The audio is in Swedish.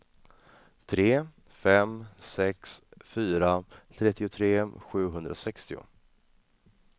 tre fem sex fyra trettiotre sjuhundrasextio